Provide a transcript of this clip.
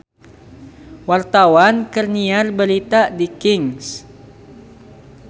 Wartawan keur nyiar berita di Kings